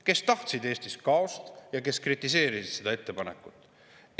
Kes tahtsid Eestis kaost ja kes kritiseerisid seda ettepanekut?